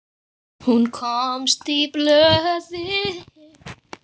Hún komst í blöðin.